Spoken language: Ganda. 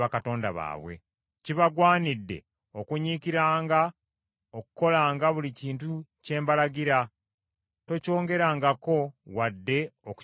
Kibagwanidde okunyiikiranga okukolanga buli kintu kye mbalagira, tokyongerangako wadde okukikendeezangako.